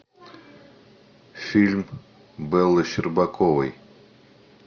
фильм беллы щербаковой